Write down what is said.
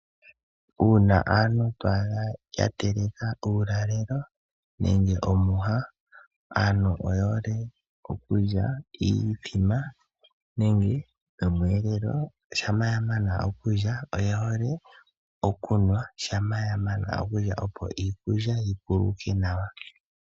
Uuna aantu to adha yateleka uulalelo nenge omwiha. Aantu oyehole okulya iimbombo nomweelelo shampa yamana okulya oyehole okunwa shampa yamana okulya opo iikulya yikuluke nawa.